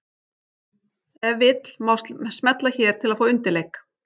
Ef vill má smella hér til að fá undirleik.